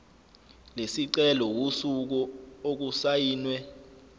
lesicelo usuku okusayinwe